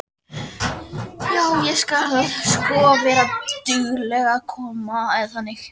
Já, ég skal sko vera dugleg að koma.